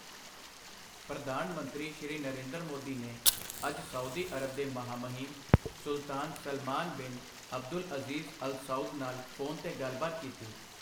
ਪ੍ਰਧਾਨ ਮੰਤਰੀ ਸ੍ਰੀ ਨਰਿੰਦਰ ਮੋਦੀ ਨੇ ਅੱਜ ਸਊਦੀ ਅਰਬ ਦੇ ਮਹਾਮਹਿਮ ਸੁਲਤਾਨ Salman bin Abdulaziz Al Saud ਨਾਲ ਫ਼ੋਨ ਤੇ ਗੱਲਬਾਤ ਕੀਤੀ।